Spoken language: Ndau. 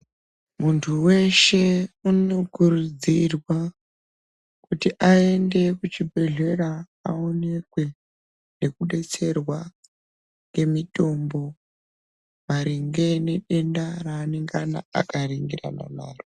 Muntu weshe unokurudzirwa ,kuti aende kuchibhedhlera aonekwe, nekudetserwa, ngemitombo, maringe ngedenda reanengana akaringirana naro.